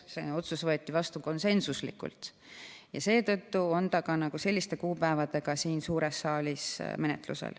Selline otsus võeti vastu konsensuslikult ja seetõttu on ta ka selliste kuupäevadega siin suures saalis menetlusel.